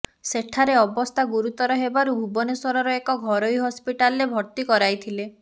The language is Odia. ସେଠାରେ ଅବସ୍ଥା ଗୁରୁତର ହେବାରୁ ଭୁବନେଶ୍ବରର ଏକ ଘରୋଇ ହସ୍ପିଟାଲରେ ଭର୍ତ୍ତି କରାଇଥିଲେ